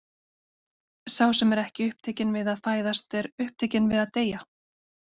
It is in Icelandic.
Sá sem er ekki upptekinn við að fæðast, er upptekinn við að deyja.